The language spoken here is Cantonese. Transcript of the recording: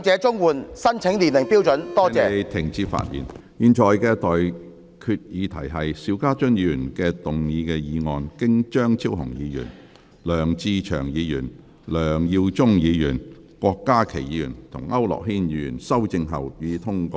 我現在向各位提出的待決議題是：邵家臻議員動議的議案，經張超雄議員、梁志祥議員、梁耀忠議員、郭家麒議員及區諾軒議員修正後，予以通過。